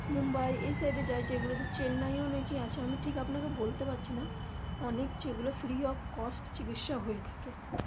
মুম্বাই এই side এর জায়গা গুলোতে চেন্নাই এও অনেকই আছে আমি আপনাকে ঠিক বলতে পারছি না অনেক যেগুলো free of cost চিকিৎসা হয়ে থাকে.